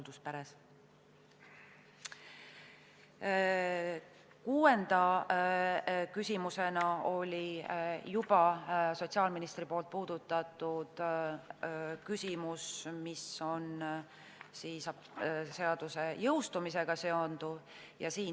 Kuues teema oli juba sotsiaalministri puudutatud seaduse jõustumise küsimus.